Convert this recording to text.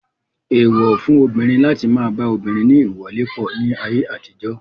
Èèwọ̀ fún obìnrin láti má a ba obìnrin ní ìwọlépọ̀ ní ayé àtijọ́.